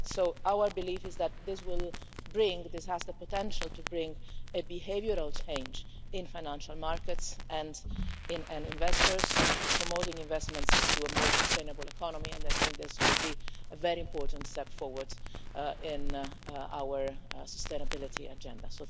So our belief is that this has the potential to bring a behavioural change in financial markets and in investors, promoting investments into a more sustainable economy, and I think this will be a very important step forward in our sustainability agenda.